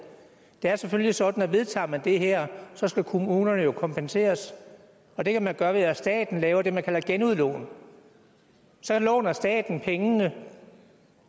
det er selvfølgelig sådan at vedtager man det her skal kommunerne jo kompenseres og det kan man gøre ved at staten laver det man kalder genudlån så låner staten pengene